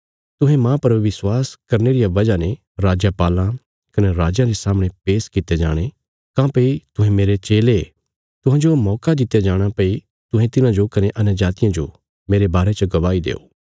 तुहें मांह पर विश्वास करने रिया वजह ने राजपालां कने राजयां रे सामणे पेश कित्ते जाणे काँह्भई तुहें मेरे चेले तुहांजो मौका दित्या जाणा भई तुहें तिन्हांजो कने अन्यजातियां जो मेरे बारे च गवाही देओ